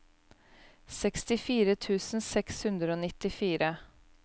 sekstifire tusen seks hundre og nittifire